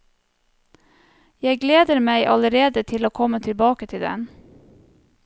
Jeg gleder meg allerede til å komme tilbake til den.